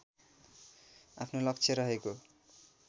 आफ्नो लक्ष्य रहेको